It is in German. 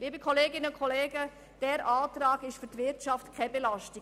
Liebe Kolleginnen und Kollegen, dieser Antrag ist für die Wirtschaft keine Belastung.